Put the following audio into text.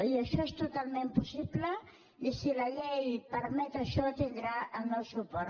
i això és totalment possible i si la llei permet això tindrà el meu suport